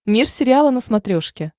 мир сериала на смотрешке